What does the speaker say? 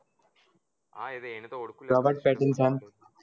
હા એતો ઓડખું Robert Pattinson